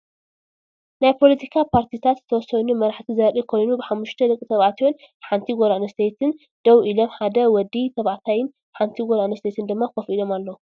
ናይ ፖለቲካ ፓርቲታት ዝተወሰኑ መራሕቲ ዘርኢ ኮይኑ ሓሙሽተ ደቂ ተባዕትዮ ን ሓንቲ ጓል አንስተይትን ደው ኢሎም ሓደ ወዲ ተባዕታይን ሓንቲ ጓል አንስተይትን ድማ ኮፍ ኢሎም አለዉ፡፡